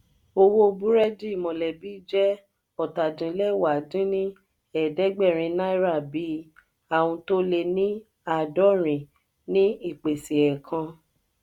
owó burẹdi mọlẹbi je ọ́ta-din-lẹwá dín ní ẹ̀ẹ́dẹ́gbẹ́rin náírà bii aun to le ni aadọrin ní ìpèsè ẹẹkan.